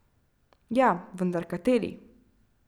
Ja, vendar kateri?